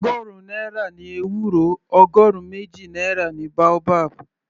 Ọgọrun náírà ni ewúro, ọgọrun méjì náírà ni boabab.